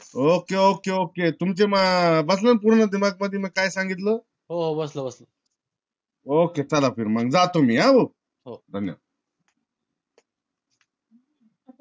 ok ok ok तुमचा बसला ना पूर्ण मध्ये मी काय संगीतल ok चला बर माग जातो मी हा